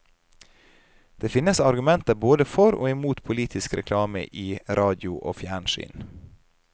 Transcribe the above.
Det finnes argumenter både for og mot politisk reklame i radio og fjernsyn.